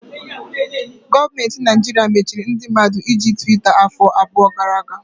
Gọọmenti Naịjirịa machiri ndị mmadụ iji Twita afọ abụọ gara aga.